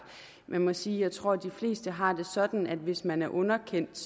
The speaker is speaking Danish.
jeg må sige at jeg tror de fleste har det sådan at hvis man er underkendt